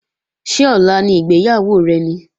Ṣé ọ̀la ni ìgbéyàwó rẹ ni?